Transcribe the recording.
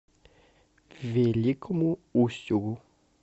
великому устюгу